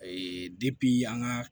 an ga